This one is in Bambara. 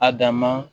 A dan ma